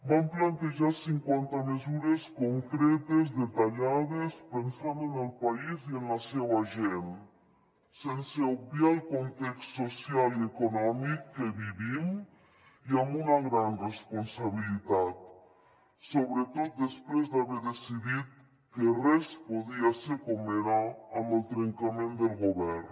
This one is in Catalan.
vam plantejar cinquanta mesures concretes detallades pensant en el país i en la seua gent sense obviar el context social i econòmic que vivim i amb una gran responsabilitat sobretot després d’haver decidit que res podia ser com era amb el trencament del govern